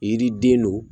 Yiriden don